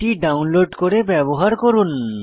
এটি ডাউনলোড করে ব্যবহার করুন